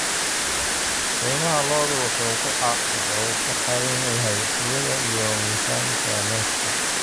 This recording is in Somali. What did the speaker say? Qiimaha lo'du wuxuu ku xiran yahay tayada iyo miisaanka neefka.